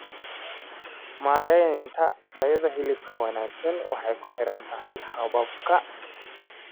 Maareynta tayada hilibka wanaagsan waxay kuxirantahay hababka.